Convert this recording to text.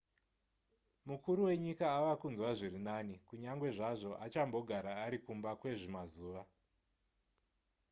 mukuru wenyika ava kunzwa zviri nani kunyange zvazvo achambogara ari kumba kwezvimazuva